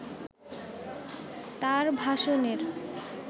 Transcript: তার ভাষণের